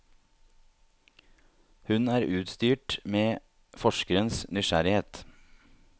Hun er utstyrt med forskerens nysgjerrighet.